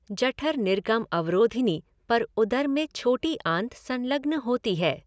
जठर निर्गम अवरोधिनी पर उदर में छोटी आंत संलग्न होती है।